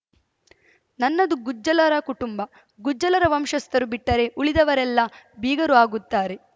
ನನ್ನದು ಗುಜ್ಜಲರ ಕುಟುಂಬ ಗುಜ್ಜಲರ ವಂಶಸ್ಥರು ಬಿಟ್ಟರೆ ಉಳಿದವರೆಲ್ಲ ಬೀಗರು ಆಗುತ್ತಾರೆ